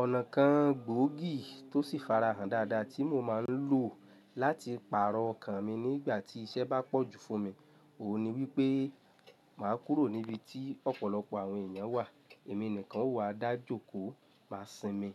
Ọ̀nà kan gbòógì tó sì fara hàn dáadáa tí mo máa ń lò láti pàrọ̀ ọkàn mi nígbà tí iṣẹ́ bá pọ̀jù fún mi, òun ni wípé màá kúrò níbi tí ọ̀pọ̀lọpọ̀ àwọn èèyàn wà. Èmi nìkan ó wà, dájò kó máa sinmi.